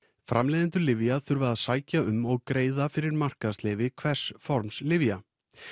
framleiðendur lyfja þurfa að sækja um og greiða fyrir markaðsleyfi hvers forms lyfja